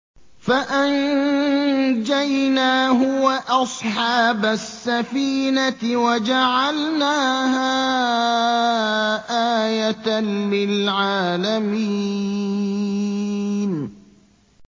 فَأَنجَيْنَاهُ وَأَصْحَابَ السَّفِينَةِ وَجَعَلْنَاهَا آيَةً لِّلْعَالَمِينَ